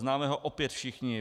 Známe ho opět všichni.